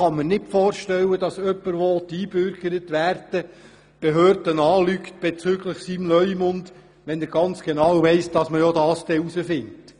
Ich kann mir nicht vorstellen, dass jemand, der eingebürgert werden möchte, die Behörden bezüglich seines Leumunds belügt, wenn er genau weiss, dass man es doch herausfindet.